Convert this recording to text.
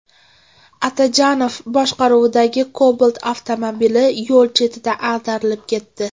Atajonov boshqaruvidagi Cobalt avtomobili yo‘l chetida ag‘darilib ketdi.